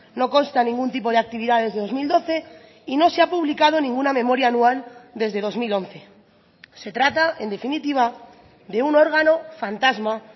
no consta ningún tipo de actividad desde dos mil doce y no se ha publicado ninguna memoria anual desde dos mil once se trata en definitiva de un órgano fantasma